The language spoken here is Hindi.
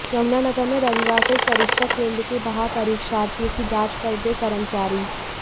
यमुनानगर में रविवार को एक परीक्षा केंद्र के बाहर परीक्षार्थियों की जांच करते कर्मचारी